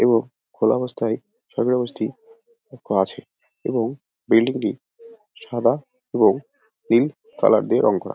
এবং খোলা অবস্থায় সোবিউজটি ক্ক আছে এবং বিল্ডিং টি সাদা এবং পিঙ্ক কালার দিয়ে রং করা।